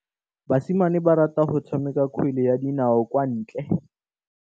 Basimane ba rata go tshameka kgwele ya dinaô kwa ntle.